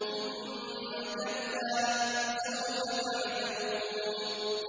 ثُمَّ كَلَّا سَوْفَ تَعْلَمُونَ